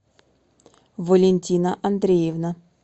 валентина андреевна